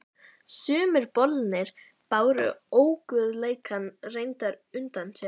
Sumir bolirnir báru óguðleikann reyndar utan á sér.